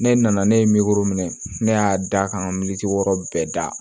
Ne nana ne ye minɛ ne y'a da ka militi wɔɔrɔ bɛɛ da